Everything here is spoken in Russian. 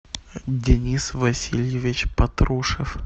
денис васильевич патрушев